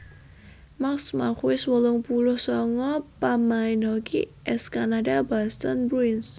Mark Marquess wolung puluh sanga pamain hoki ès Kanada Boston Bruins